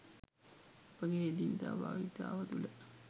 අපගේ එදිනෙදා භාවිතාව තුළ